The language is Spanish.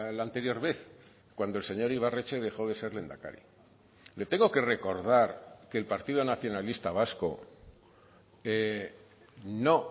la anterior vez cuando el señor ibarretxe dejo de ser lehendakari le tengo que recordar que el partido nacionalista vasco no